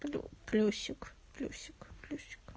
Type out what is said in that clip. плюсик плюсик плюсик